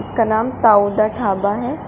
का नाम ताऊ दा ढाबा है।